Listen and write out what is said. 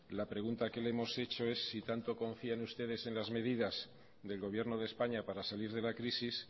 la pregunta que le hemos hecho es si tanto confían ustedes en las medidas del gobierno de españa para salir de la crisis